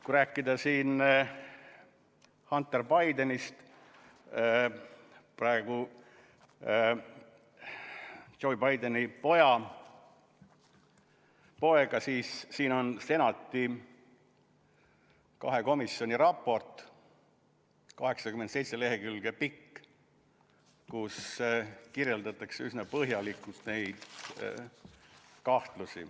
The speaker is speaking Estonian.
Kui rääkida siin Hunter Bidenist, Joe Bideni pojast, siis siin on Senati kahe komisjoni raport, 87 lehekülge pikk, kus kirjeldatakse üsna põhjalikult neid kahtlusi.